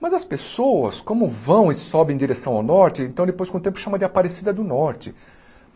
Mas as pessoas, como vão e sobem em direção ao norte, então depois com o tempo chamam de Aparecida do Norte.